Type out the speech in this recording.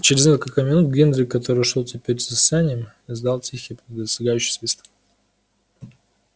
через несколько минут генри который шёл теперь за санями издал тихий предостерегающий свист